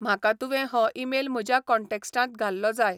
म्हाका तुवें हो ईमेल म्हज्या कॉन्टॅक्ट्सांत घाल्लो जाय